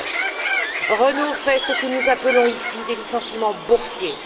2009. Renault fait ce que nous appelons ici des licenciements boursiers.